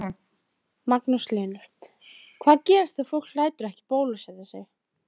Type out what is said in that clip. Magnús Hlynur: Hvað gerist ef fólk lætur ekki bólusetja sig?